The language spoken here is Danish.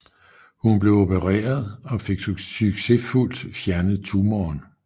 Hun blev opereret og fik succesfuldt fjernet tumoren